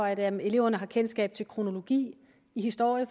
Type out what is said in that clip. at at eleverne har kendskab til kronologi i historie